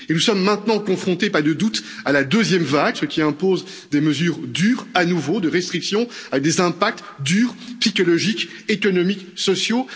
Et nous sommes maintenant confrontés, il n'y a pas de doute, à la deuxième vague, ce qui impose des mesures dures, à nouveau, des restrictions, avec des impacts durs tant psychologiques ou économiques que sociaux.